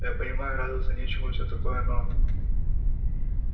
я понимаю радоваться нечему и всё такое но